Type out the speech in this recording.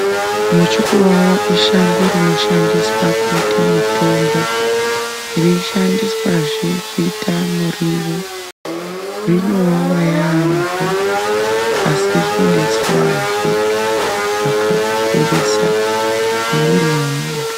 Muchukuvava ishango rinoshandiswa kuita mutombo ,reishandiswazve kuita muriwo .Rinowawa yaampho, asi rinodetserazve, zvakakurisa, mumwiri mwemuntu.